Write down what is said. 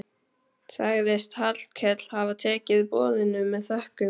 Sagðist Hallkell hafa tekið boðinu með þökkum.